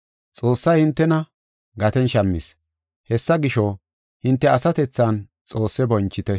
Xoossay hintena gaten shammis. Hessa gisho, hinte asatethan Xoosse bonchite.